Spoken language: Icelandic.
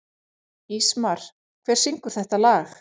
Ísmar, hver syngur þetta lag?